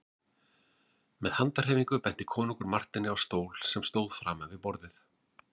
Með handarhreyfingu benti konungur Marteini á stól sem stóð framan við borðið.